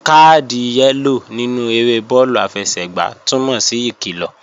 Káàdì yẹ́lò nínú eré bọ́ọ̀lù àfẹsẹ̀gbá túnmọ̀ sí ìkilọ̀